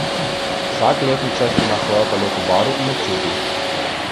Vsak letni čas ima svojo paleto barv in občutij.